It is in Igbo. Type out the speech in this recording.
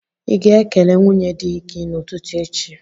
Ị ga-ekele nwunye di gị n'ụtụtụ echi?